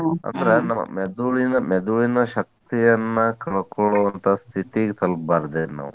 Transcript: ಅಂದ್ರ್ ನಮ್ಮ್ ಮೆದುಳಿನ ಮೆದುಳಿನ ಶಕ್ತಿಯನ್ನ ಕಳ್ಕೋಳುವಂತ ಸ್ಥಿತಿಗೆ ತಲಪಬಾರ್ದಿನ್ನ್ ನಾವ್.